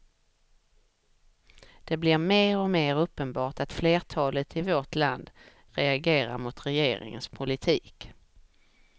Det blir mer och mer uppenbart att flertalet i vårt land reagerar mot regeringens politik.